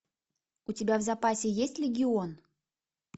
у тебя в запасе есть легион